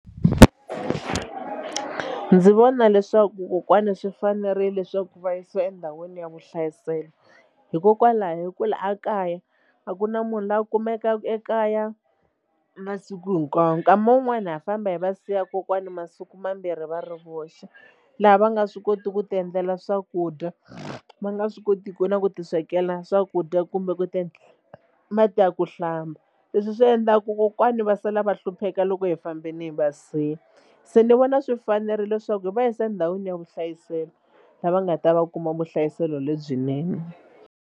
Ndzi vona leswaku kokwana swi fanerile leswaku va yisiwa endhawini ya vuhlayiselo hikokwalaho hi ku la a kaya a ku na munhu loyi a kumekaka ekaya masiku hinkwawo nkama wun'wani ha famba hi va siya kokwana masiku mambirhi va ri voxe laha va nga swi kotiku ku tiendlela swakudya va nga swi kotiku na ku tiswekela swakudya kumbe ku ti mati ya ku hlamba leswi swi endlaku kokwani va sala va hlupheka loko hi fambile hi va siya se ni vona swi fanerile leswaku hi va yisa endhawini ya vuhlayiselo la va nga ta va kuma vuhlayiselo lebyinene.